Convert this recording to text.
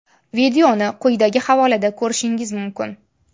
Videoni quyidagi havolada ko‘rishingiz mumkin.